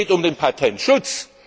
Es geht um den Patentschutz.